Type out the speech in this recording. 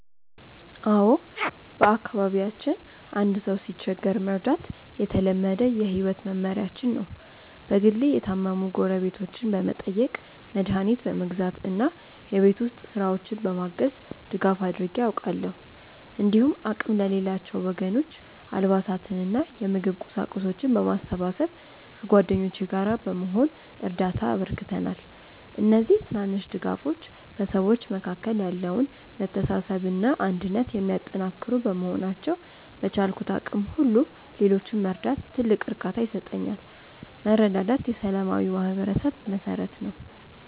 አዎ፣ በአካባቢያችን አንድ ሰው ሲቸገር መርዳት የተለመደ የህይወት መመሪያችን ነው። በግሌ የታመሙ ጎረቤቶችን በመጠየቅ፣ መድኃኒት በመግዛት እና የቤት ውስጥ ስራዎችን በማገዝ ድጋፍ አድርጌ አውቃለሁ። እንዲሁም አቅም ለሌላቸው ወገኖች አልባሳትንና የምግብ ቁሳቁሶችን በማሰባሰብ ከጓደኞቼ ጋር በመሆን እርዳታ አበርክተናል። እነዚህ ትናንሽ ድጋፎች በሰዎች መካከል ያለውን መተሳሰብና አንድነት የሚያጠናክሩ በመሆናቸው፣ በቻልኩት አቅም ሁሉ ሌሎችን መርዳት ትልቅ እርካታ ይሰጠኛል። መረዳዳት የሰላማዊ ማህበረሰብ መሠረት ነው።